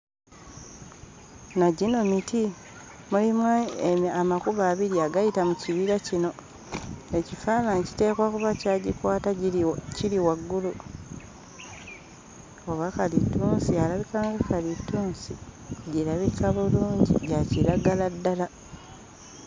Na gino miti. Mulimu amakubo abiri agayita mu kibira kino, ekifaananyi kiteekwa kuba kyagikwata giri wa kiri waggulu. Oba kalitunsi? Alabika nga kalitunsi, girabika bulungi, gya kiragala ddala.